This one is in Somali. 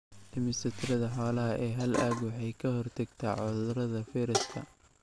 Dhimista tirada xoolaha ee hal aag waxay ka hortagtaa cudurrada fayraska.